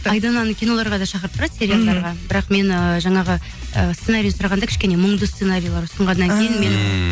айдананы киноларға да шақырып тұрады сериалдарға бірақ мені жаңағы ы сценарийін сұрағанда кішкене мұңды сценариялар ұсынғаннан кейін ммм